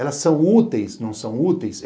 Elas são úteis, não são úteis?